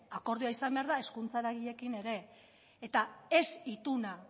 akordioa izan behar da hezkuntza eragileekin ere eta ez ituna